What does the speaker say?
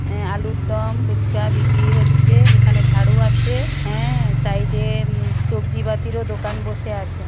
আ- আলুর দম ফুচকা বিক্রি হচ্ছে | এখানে ঝাড়ু আছে হ্যাঁ সাইড এ সবজি বাতিরও দোকান বসে আছে।